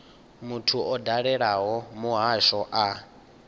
muthu o dalelaho muhasho a